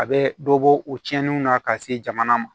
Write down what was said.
A bɛ dɔ bɔ o cɛninw na ka se jamana ma